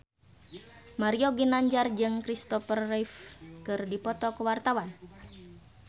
Mario Ginanjar jeung Kristopher Reeve keur dipoto ku wartawan